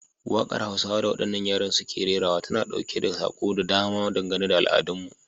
Wakar Hausawa da wadannan yaran suke rerawa tana dauke da sako da dama dangane da al'adunmu.